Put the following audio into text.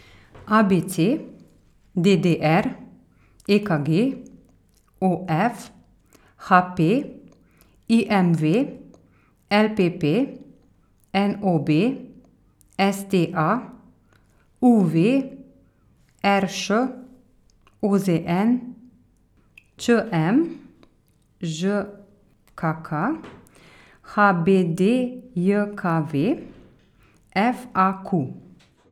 A B C; D D R; E K G; O F; H P; I M V; L P P; N O B; S T A; U V; R Š; O Z N; Č M; Ž K K; H B D J K V; F A Q.